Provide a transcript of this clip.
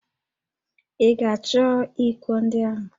Ị ga-achọ íkò ndị ahụ?